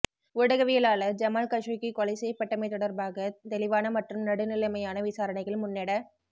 ஊடகவியலாளர் Jamal Khashoggi கொலை செய்யப்பட்டமை தொடர்பாக தௌிவான மற்றும் நடுநிலைமையான விசாரணைகள் முன்னெட